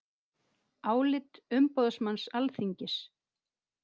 Álit umboðsmanns Alþingis